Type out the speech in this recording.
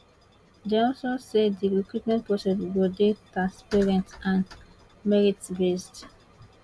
dem also say di recruitment process go dey transparent and mertibased